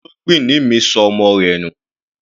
Olóngbìnní mi ṣọ ọmọ rẹ̀ nù.